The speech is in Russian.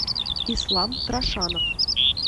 ислам трашанов